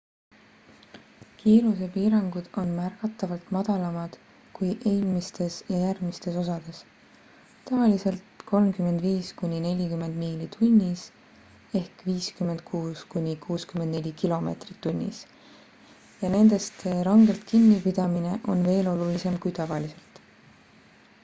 kiirusepiirangud on märgatavalt madalamad kui eelmistes ja järgmistes osades – tavaliselt 35–40 miili tunnis 56–64 km/h – ja nendest rangelt kinni pidamine on veel olulisem kui tavaliselt